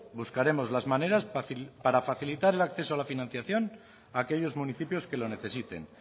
buscaremos las maneras para facilitar el acceso a la financiación a aquellos municipios que lo necesiten